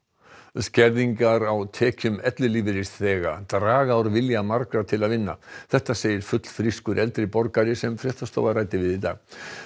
skerðingar á tekjum ellilífeyrisþega draga úr vilja margra til að vinna þetta segir fullfrískur eldri borgari sem fréttastofa ræddi við í dag